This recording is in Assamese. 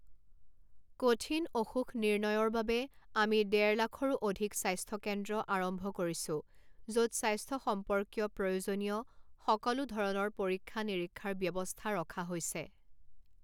কঠিন অসুখ নিৰ্ণয়ৰ বাবে আমি দেড় লাখৰো অধিক স্বাস্থ্য কেন্দ্ৰ আৰম্ভ কৰিছো, য’ত স্বাস্থ্য সম্পৰ্কীয় প্ৰয়োজনীয় সকলো ধৰণৰ পৰীক্ষা নিৰীক্ষাৰ ব্যৱস্থা ৰখা হৈছে।